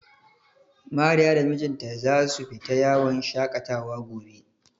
Mariya da mijinta za su fita yawon shaƙatawa gobe.